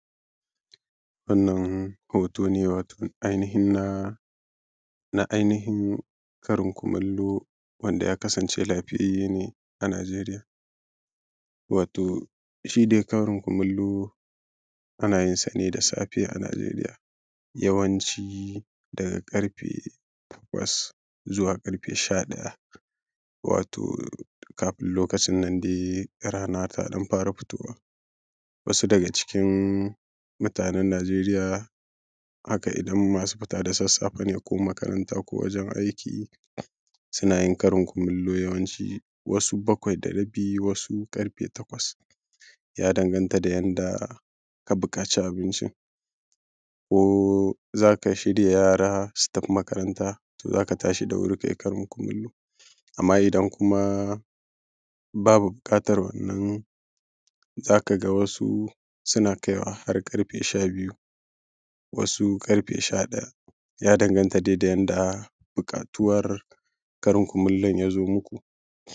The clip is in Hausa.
wannan hoto ne wato ainihin na na ainihin karin kumallo wanda ya kasance lafiyayye ne a nigeria wato shi dai karin kumallo ana yinsa ne da safe a nigeria yawanci daga ƙarfe takwas zuwa ƙarfe sha ɗaya wato kafin lokacin nan dai rana ta ɗan fara fitowa wasu daga cikin mutanen nigeria haka idan masu fita da sassafe ne ko makaranta ko wajen aiki suna yin karin kumallo yawanci wasu bakwai da rabi wasu ƙarfe takwas ya danganta da yadda ka buƙaci abincin ko za ka shirya yara su tafi makaranta to za ka tashi da wuri ka yi karin kumallo amma idan kuma babu buƙatar wannan za ka ga wasu suna kaiwa har ƙarfe sha biyu wasu ƙarfe sha ɗaya ya danganta dai da buƙatuwar karin kumallon ya zo muku